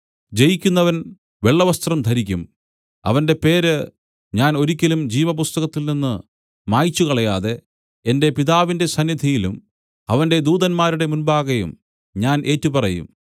ജയിക്കുന്നവൻ വെള്ളവസ്ത്രം ധരിക്കും അവന്റെ പേരു ഞാൻ ഒരിക്കലും ജീവപുസ്തകത്തിൽനിന്ന് മായിച്ചു കളയാതെ എന്റെ പിതാവിന്റെ സന്നിധിയിലും അവന്റെ ദൂതന്മാരുടെ മുമ്പാകെയും ഞാൻ ഏറ്റുപറയും